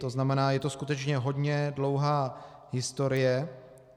To znamená, je to skutečně hodně dlouhá historie.